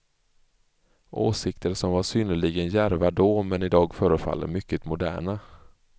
Åsikter som var synnerligen djärva då, men idag förefaller mycket moderna.